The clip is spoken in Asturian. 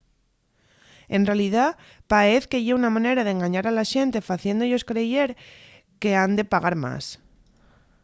en realidá paez que ye una manera d’engañar a la xente faciéndo-yos creyer qu’han pagar más